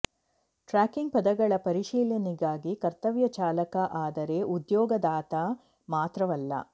tracking ಪದಗಳ ಪರಿಶೀಲನೆಗಾಗಿ ಕರ್ತವ್ಯ ಚಾಲಕ ಆದರೆ ಉದ್ಯೋಗದಾತ ಮಾತ್ರವಲ್ಲ